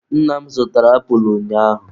Nna m zụtara apulụ ụnyaahụ.